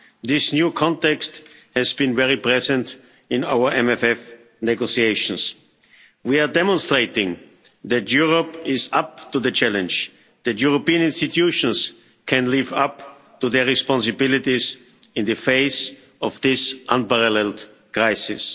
This new context has been very present in our MFF negotiations. We are demonstrating that Europe is up to the challenge, that the European institutions can live up to their responsibilities in the face of this unparalleled crisis.